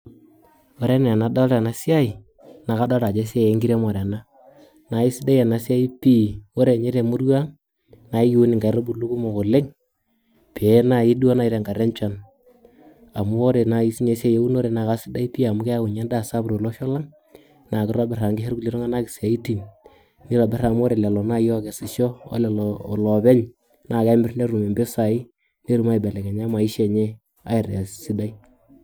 Ore enaa nadolta enasiai, na kadolta ajo esiai enkiremore ena. Naisidai enasiai pi, ore nye temurua ang, na kiun inkaitubulu kumok oleng, pee nai duo nai tenkata enchan. Amu ore nai sinye esiai eunore na kasidai pi amu keeu nye endaa sapuk tolosho lang, na kitobir amu kisho irkulie tung'anak isiaitin, nitobir amu ore lelo nai okesisho olelo lopeny, na kemir netum impisai, netum aibelekenya maisha enye aitaa sidai.